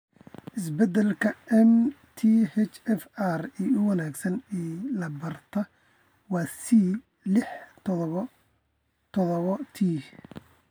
Isbedelka MTHFR ee ugu wanaagsan ee la bartay, waa C lix tadhawo tadhawo T.